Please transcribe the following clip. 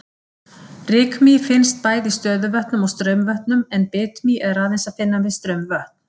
Rykmý finnst bæði í stöðuvötnum og straumvötnum en bitmý er aðeins að finna við straumvötn.